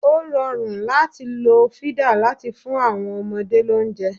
O rọrùn láti lo fídà láti fún àwọn ọmọdé lóúnjẹ.